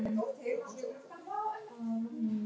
Hvernig svarar þú þeim?